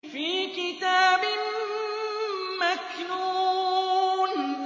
فِي كِتَابٍ مَّكْنُونٍ